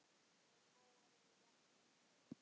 Þeir bógar eru jafnan tveir.